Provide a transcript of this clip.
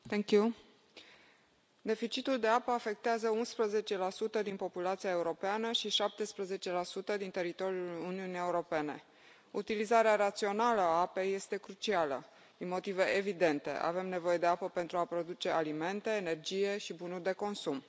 Doamnă președintă, deficitul de apă afectează 11 din populația europeană și 17 din teritoriul Uniunii Europene. Utilizarea rațională a apei este crucială, din motive evidente avem nevoie de apă pentru a produce alimente, energie și bunuri de consum.